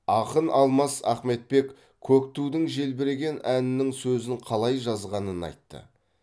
ақын аламас ахметбек көк тудың желбіреген әнінің сөзін қалай жазғанын айтты